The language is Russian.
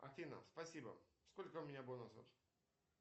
афина спасибо сколько у меня бонусов